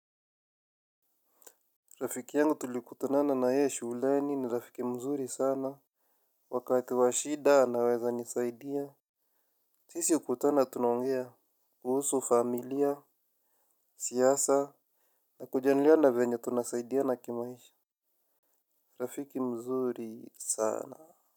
Rafiki yangu tulikutanana na yeye shuleni ni rafiki mzuri sana. Wakati wa shida anaweza nisaidia. Sisi hukutana tunaongea kuhusu familia siasa na kujadiliana venye tunasaidiana kimaisha. Rafiki mzuri sana.